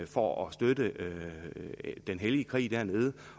for at støtte den hellige krig dernede